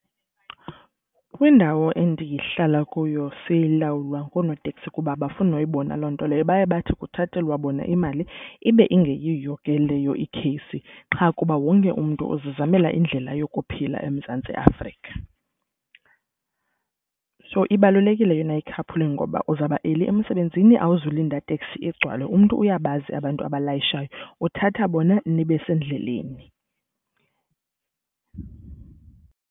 Kwindawo endihlala kuyo silawula ngoonoteksi kuba abafuni noyibona loo nto leyo. Baye bathi kuthathathelwa bona imali ibe engeyiyo ke leyo ikheyisi, qha kuba wonke umntu uzizamela indlela yokuphila eMzantsi Afrika. So ibalulekile yona i-carpooling ngoba uzawuba eli emsebenzini, awuzokulinda teksi igcwale. Umntu uyabazi abantu abalayishayo, uthatha bona nibe sendleleni.